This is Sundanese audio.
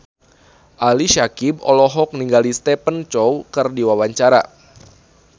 Ali Syakieb olohok ningali Stephen Chow keur diwawancara